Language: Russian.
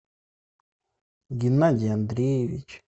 геннадий андреевич